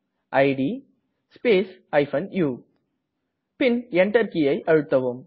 it space u பின் Enter கீயை அழுத்தவும்